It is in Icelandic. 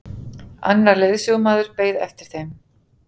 Annar leiðsögumaður beið eftir þeim.